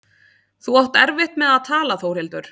Þú átt erfitt með að tala Þórhildur.